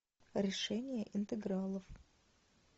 решение интегралов